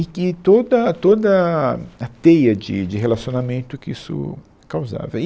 E que toda, toda a a teia de de relacionamento que isso causava. E